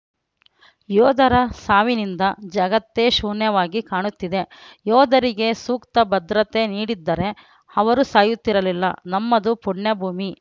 ಯೋಧರ ಸಾವಿನಿಂದ ಜಗತ್ತೇ ಶೂನ್ಯವಾಗಿ ಕಾಣುತ್ತಿದೆ ಯೋಧರಿಗೆ ಸೂಕ್ತ ಭದ್ರತೆ ನೀಡಿದ್ದರೆ ಅವರು ಸಾಯುತ್ತಿರಲಿಲ್ಲ ನಮ್ಮದು ಪುಣ್ಯಭೂಮಿ